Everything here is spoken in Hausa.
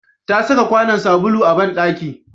Ta saka kwanon sabulu a banɗaki